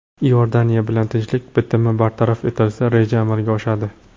Iordaniya bilan tinchlik bitimi bartaraf etilsa, reja amalga oshadi.